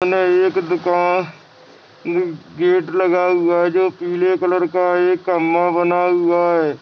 --मे एक गेट लगा हुआ है जो पीले कलर का एक खंबा बना हुआ है।